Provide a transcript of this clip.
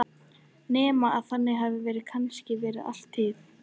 Nema að þannig hafi það kannski verið alla tíð.